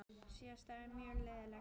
Síðasta ár var mjög lélegt.